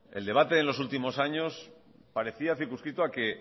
el debate en los últimos años parecía circunscrito a que